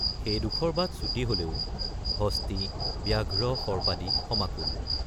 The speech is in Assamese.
সেইডোখৰ বাট চুটি হলেও হস্তী ব্যাঘ্ৰ সৰ্পাদি সমাকুল।